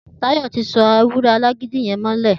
Tayo ti só éwùrè àlágidi yèn mọlẹ